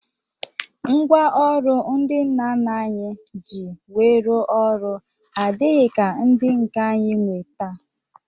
Ngwaọrụ ndị nna nna anyị ji wee rụọ ọrụ adịghị ka ndị nke anyị nwee taa